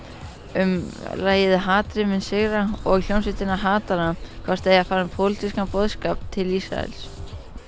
um lagið hatrið mun sigra og hljómsveitina hvort þau eigi að fara með pólitískan boðskap til Ísraels